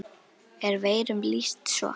er veirum lýst svo